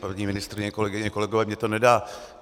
Paní ministryně, kolegyně, kolegové, mně to nedá.